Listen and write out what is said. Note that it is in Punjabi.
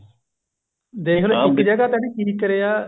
ਦੇਖਲੋ ਇੱਕ ਜਗ੍ਹਾ ਉਹਨੇ ਕੀ ਕਰਿਆ